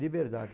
Liberdade.